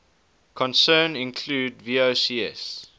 concern include vocs